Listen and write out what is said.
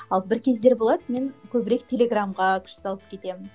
ал бір кездері болады мен көбірек телеграмға күш салып кетемін